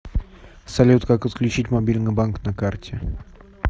салют как отключить мобильный банк на карте